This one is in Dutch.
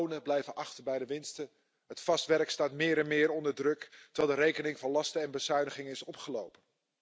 De lonen blijven achter bij de winsten. Het vaste werk staat meer en meer onder druk, terwijl de rekening van lasten en bezuinigingen is opgelopen.